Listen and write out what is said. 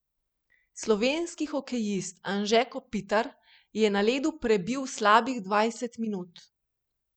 Slovenski hokejist Anže Kopitar je na ledu prebil slabih dvajset minut.